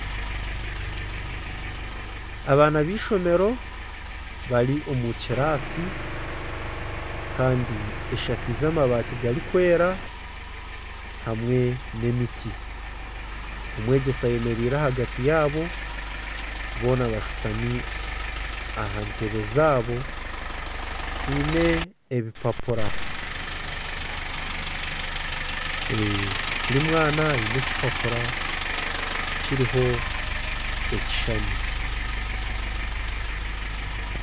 Abaana beishomero bari omukibiina Kandi eshakaize amabaati garikwera hamwe nana emiti ,omwegyesa ayemereire ahagati yaabo boona bashutami aha ntebbe zaabo baine ebipapura buri mwana aine ekipapura kiriho ekishushani .